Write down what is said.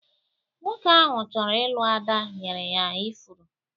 Nwoke ahu chọrọ ịlụ Ada nyere ya ifuru